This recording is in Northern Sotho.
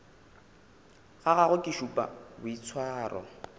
ga gagwe ke šupa boitshwaro